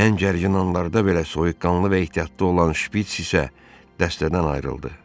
Hən gərgin anlarda belə soyuqqanlı və ehtiyatlı olan Şpiç isə dəstədən ayrıldı.